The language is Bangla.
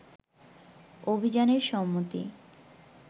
অভিযানে সম্মতি